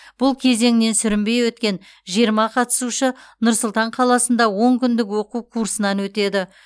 бұл кезеңнен сүрінбей өткен жиырма қатысушы нұр сұлтан қаласында он күндік оқу курсынан өтеді